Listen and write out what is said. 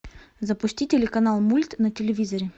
запусти телеканал мульт на телевизоре